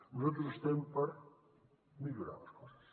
nosaltres estem per millorar les coses